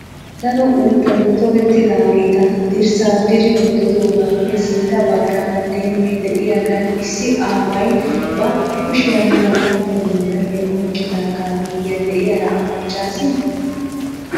Daro uuttati tokettidaageta dirssa diri wottidoogappe sintta baggaara dembbay diyagaan issi aaway ba kushiyan tooraanne gondalliya oyiqqidagaa miyiyan diyara a maccaasii?